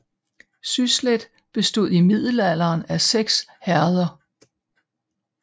Syslet bestod i middelalderen af 6 herreder